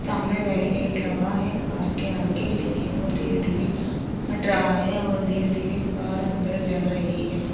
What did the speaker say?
सामने वैरीगेट लगा है कार के आगे लेकिन वो धीरे-धीरे हट रहा है और धीरे-धीरे कार अंदर जा रही है।